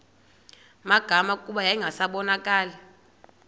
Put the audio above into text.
magama kuba yayingasabonakali